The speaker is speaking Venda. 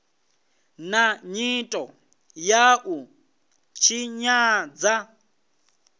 na nyito ya u tshinyadza